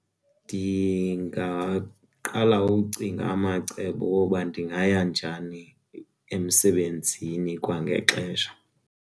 Ndingaqala ucinga amacebo woba ndingaya njani emsebenzini kwangexesha.